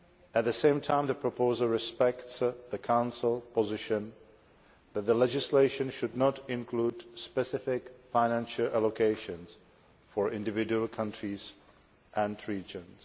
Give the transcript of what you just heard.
At the same time, the proposal respects the Council position that the legislation should not include specific financial allocations for individual countries and regions.